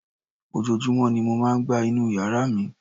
Ojoojúmọ́ ni mo máa ń gbá inú yàrá mi